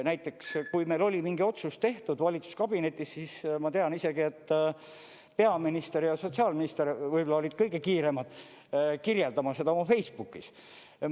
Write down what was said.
Näiteks, kui meil oli mingi otsus tehtud valitsuskabinetis, siis ma tean isegi, et peaminister ja sotsiaalminister võib-olla olid kõige kiiremad kirjeldama seda oma Facebookis.